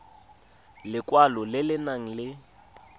lekwalo le le nang le